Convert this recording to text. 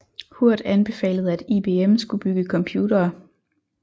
Hurd anbefalede at IBM skulle bygge computere